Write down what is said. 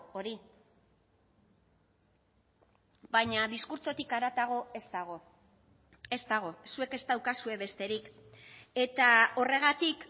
hori baina diskurtsotik haratago ez dago ez dago zuek ez daukazue besterik eta horregatik